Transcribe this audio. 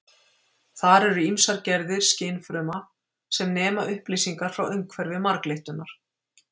þar eru ýmsar gerðir skynfruma sem nema upplýsingar frá umhverfi marglyttunnar